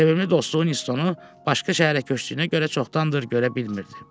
Sevimli dostu Winstounu başqa şəhərə köçdüyünə görə çoxdandır görə bilmirdi.